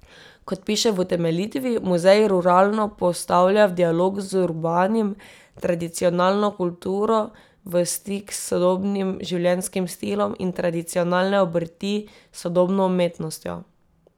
Kot piše v utemeljitvi, muzej ruralno postavlja v dialog z urbanim, tradicionalno kulturo v stik s sodobnim življenjskim stilom in tradicionalne obrti s sodobno umetnostjo.